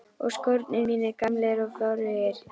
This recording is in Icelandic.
Og skórnir mínir gamlir og forugir.